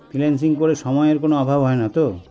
Freelancing করে সময়ের কোনো অভাব হয়না তো